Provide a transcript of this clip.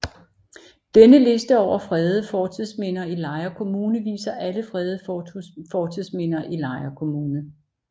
Denne liste over fredede fortidsminder i Lejre Kommune viser alle fredede fortidsminder i Lejre Kommune